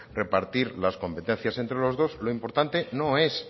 repartir las competencias entre los dos lo importante no es